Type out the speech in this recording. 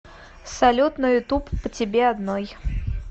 салют на ютуб по тебе одной